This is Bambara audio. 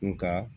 Nga